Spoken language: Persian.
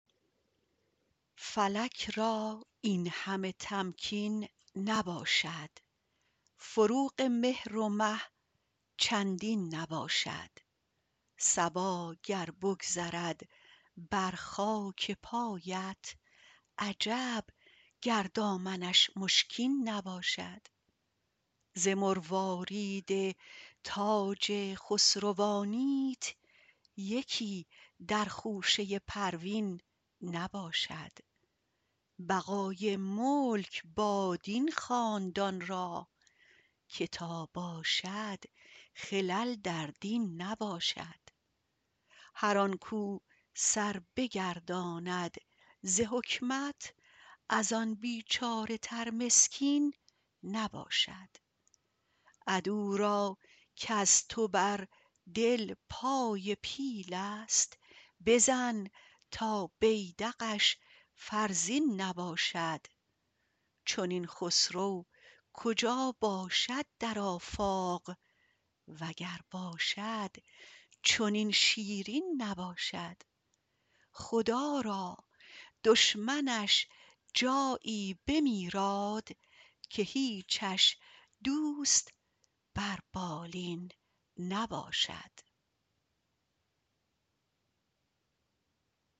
فلک را این همه تمکین نباشد فروغ مهر و مه چندین نباشد صبا گر بگذرد بر خاک پایت عجب گر دامنش مشکین نباشد ز مروارید تاج خسروانیت یکی در خوشه پروین نباشد بقای ملک باد این خاندان را که تا باشد خلل در دین نباشد هر آن کو سر بگرداند ز حکمت از آن بیچاره تر مسکین نباشد عدو را کز تو بر دل پای پیلست بزن تا بیدقش فرزین نباشد چنین خسرو کجا باشد در آفاق وگر باشد چنین شیرین نباشد خدا را دشمنش جایی بمیراد که هیچش دوست بر بالین نباشد